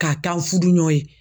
K'a k'u fudu ɲɔ ye.